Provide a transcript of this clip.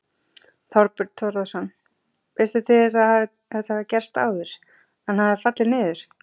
Þorbjörn Þórðarson: Veistu til þess að þetta hafi gerst áður, að það hafi fallið niður?